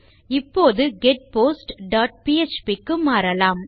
இப்போது get post dot PHP க்கு மாறலாம்